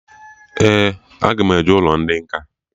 Ee, aga m eje ụlọ ndị nkà